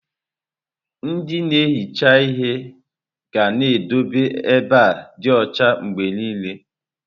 Ndị na-ehicha ihe ga na-edobe ebe dị ọcha mgbe niile.